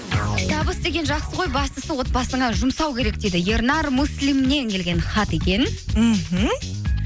табыс деген жақсы ғой бастысы отбасыңа жұмсау керек дейді ернар муслимнен келген хат екен мхм